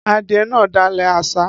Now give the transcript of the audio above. Adìẹ náà dàlẹ̀ àṣá